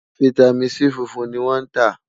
fìtámín C fúnfún ní wón tá